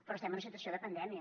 però estem en situació de pandèmia